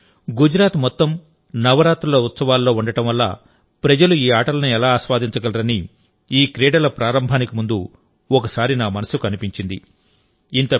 ఈ సమయంలో గుజరాత్ మొత్తం నవరాత్రుల ఉత్సవాల్లో ఉండడం వల్ల ప్రజలు ఈ ఆటలను ఎలా ఆస్వాదించగలరని ఈ క్రీడల ప్రారంభానికి ముందు ఒకసారి నా మనస్సుకు అనిపించింది